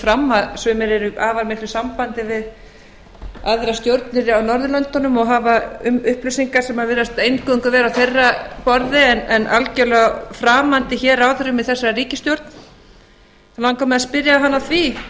fram að sumir eru í afar miklu sambandi við aðrar stjórnir á norðurlöndunum og hafa upplýsingar sem virðast eingöngu vera á þeirra borði en algerlega framandi ráðherrum hér í þessari ríkisstjórn þá langar mig að spyrja hann að því